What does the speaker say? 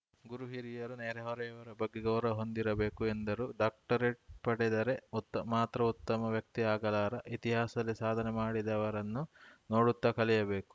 ಗುರು ಹಿರಿಯರು ನೆರೆಹೊರೆಯವರ ಬಗ್ಗೆ ಗೌರವ ಹೊಂದಿರಬೇಕು ಎಂದರು ಡಾಕ್ಟರೇಟ್‌ ಪಡೆದರೆ ಉತ್ತ ಮಾತ್ರ ಉತ್ತಮ ವ್ಯಕ್ತಿ ಆಗಲಾರ ಇತಿಹಾಸದಲ್ಲಿ ಸಾಧನೆ ಮಾಡಿದವರನ್ನು ನೋಡುತ್ತ ಕಲಿಯಬೇಕು